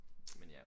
Men ja